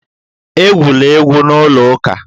Egwula egwu n'ụlọ ụka!